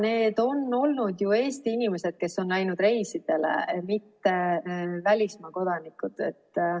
Need on olnud ju Eesti inimesed, kes on läinud reisidele, mitte välismaa kodanikud.